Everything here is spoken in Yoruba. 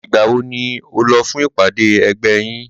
Ìgbà wo ni o lọ fún ìpàdé ẹgbẹ́ yín?